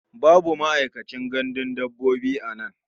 Babu ma'aikacin gandun dabbobi a nan.